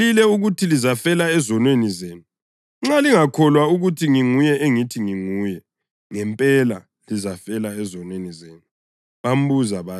Ngilitshelile ukuthi lizafela ezonweni zenu; nxa lingakholwa ukuthi nginguye engithi nginguye, ngempela lizafela ezonweni zenu.”